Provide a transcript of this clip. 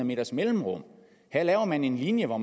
meters mellemrum her laver man en linje hvor